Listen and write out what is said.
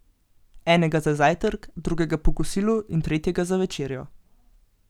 Enega za zajtrk, drugega po kosilu in tretjega za večerjo.